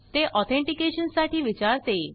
ते ऑथेनटीकेशन साठी विचारते